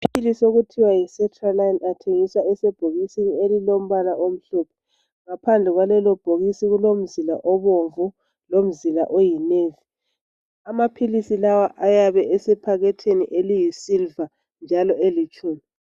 Amaphilisi okuthiwa yi sertraline athengiswa esebhokisini elilombala omhlophe. Ngaphandle kwalelo bhokisi kulomzila obomvu lomzila oyinevi. Amaphilisi layo ayabe esephakethini eliyisiliva njalo elitshumi.